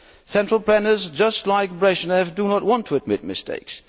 Central planners, just like Brezhnev, do not want to admit mistakes.